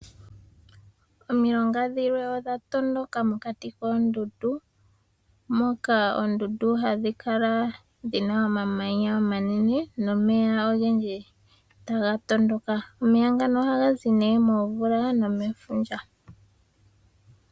Omilonga dhimwe odha tondoka mokati koondundu moka oondundu hadhi kala dhina omamanya omanene nomeya taga tondoka. Omeya ngano ohaga zi nee momvula nomefundja.